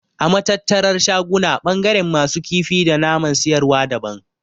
A Matattarar shaguna ɓangaren masu kifi da naman siyarwa daban.